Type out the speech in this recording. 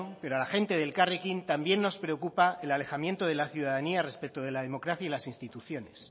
pero a la gente de elkarrekin también nos preocupa el alejamiento de la ciudadanía respecto de la democracia y las instituciones